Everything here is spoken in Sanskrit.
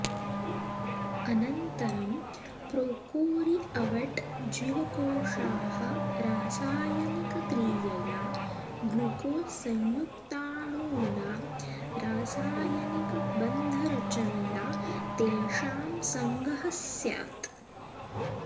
अनन्तरम् प्रोकोरीअवट् जीवकोशाः रासायनिकक्रियया ग्लूकोस् संयुक्ताणूनां रासायनिकबन्धरचनया तेषां सङ्गहः स्यात्